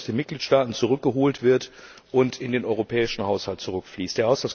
Geld, das aus den Mitgliedstaaten wieder zurückgeholt wird und in den europäischen Haushalt zurückfließt.